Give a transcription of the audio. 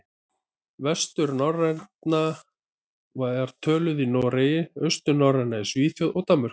Vesturnorræna var töluð í Noregi, austurnorræna í Svíþjóð og Danmörku.